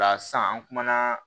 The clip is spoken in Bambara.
O la sisan an kumana